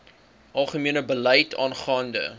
algemene beleid aangaande